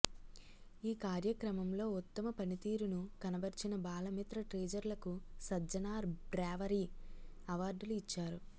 ఈ కార్యక్రమంలో ఉత్తమ పనితీరును కనబర్చిన బాలమిత్ర టీచర్లకు సజ్జనార్ బ్రేవరీ అవార్డులు ఇచ్చారు